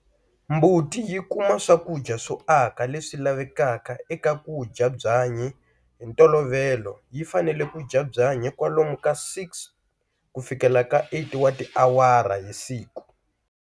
Mbuti yi kuma swakudya swo aka leswi lavekaka eka ku dya byanyi. Hi ntolovelo yi fanele ku dya byanyi kwalomu ka 6-8 wa tiawara hi siku.